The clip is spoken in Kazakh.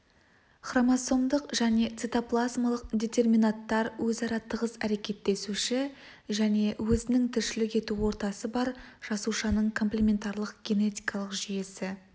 хромосомдық және цитоплазмалық детерминанттар өзара тығыз әрекеттесуші және өзінің тіршілік ету ортасы бар жасушаның комплементарлық генетикалық жүйесі